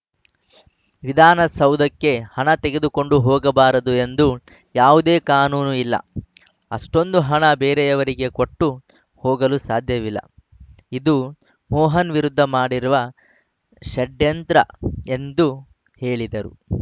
ವಿಧಾನಸೌಧಕ್ಕೆ ಹಣ ತೆಗೆದುಕೊಂಡು ಹೋಗಬಾರದು ಎಂದು ಯಾವುದೇ ಕಾನೂನು ಇಲ್ಲ ಅಷ್ಟೊಂದು ಹಣ ಬೇರೆಯವರಿಗೆ ಕೊಟ್ಟು ಹೋಗಲು ಸಾಧ್ಯವಿಲ್ಲ ಇದು ಮೋಹನ್‌ ವಿರುದ್ಧ ಮಾಡಿರುವ ಷಡ್ಯಂದ್ರ ಎಂದು ಹೇಳಿದರು